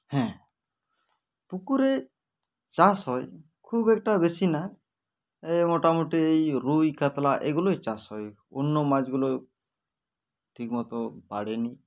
হ্যাঁ পুকুরে চাষ হয় খুব একটা বেশি না এ মোটামুটি এই রুই কাতলা এইগুলোই চাষ হয় অন্য মাছগুলো ঠিকমতো বাড়েনি